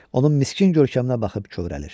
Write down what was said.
Onun miskin görkəminə baxıb kövrəlir.